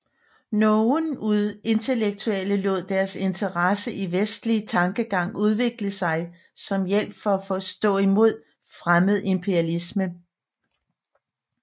Nogen intellektuelle lod deres interesse i vestlig tankegang udvikle sig som hjælp for at stå i mod fremmed imperialisme